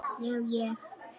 Já, ég.